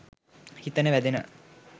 හිතට වැදෙනවා